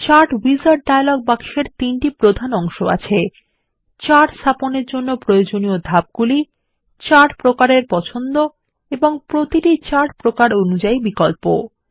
chart wizard dialog box এর তিনটি প্রধান অংশ আছে চার্ট স্থাপনের জন্য প্রয়োজনীয় ধাপগুলি চার্ট প্রকারের পছন্দ এবং প্রতিটি চার্ট প্রকার অনুযাই বিকল্প